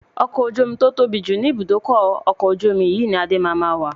Ọkọ̀ ojú omi tí ó tóbi jù ni ibùdókọ̀ ọkọ̀ ojú omi yìí ni Adé máa ma wà.